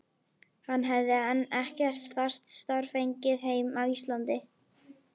Hann hefði enn ekkert fast starf fengið heima á Íslandi.